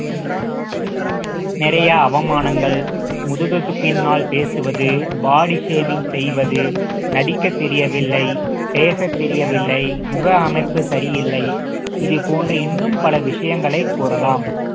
நிறைய அவமானங்கள் முதுகுக்குப் பின்னால் பேசுவது body shaming செய்வது நடிக்கத் தெரியவில்லை பேசத் தெரியவில்லை முக அமைப்பு சரியில்லை இது போன்று இன்னும் பல விஷயங்களை கூறலாம்